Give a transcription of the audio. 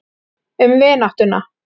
Um vináttuna.